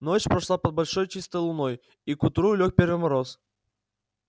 ночь прошла под большой чистой луной и к утру лёг первый мороз